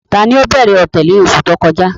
Tani ó bẹ̀rẹ̀ ọ̀tẹ̀ ni oṣù tó kọjá?